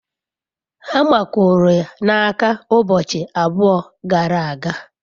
hama kuru ya n'aka ubochi abua gara aga